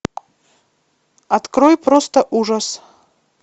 открой просто ужас